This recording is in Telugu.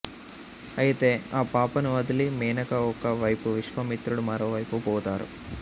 అయితే ఆ పాపను వదిలి మేనక ఒక వైపు విశ్వామిత్రుడు మరోవైపు పోతారు